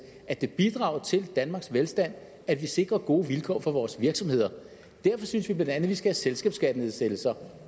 at det bidrager til danmarks velstand at vi sikrer gode vilkår for vores virksomheder derfor synes vi bla at vi skal have selskabsskattenedsættelser